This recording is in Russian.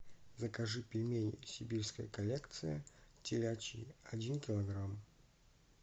закажи пельмени сибирская коллекция телячьи один килограмм